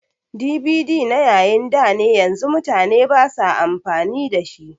DVD na yayin dane yanzu mutane basa amfani da shi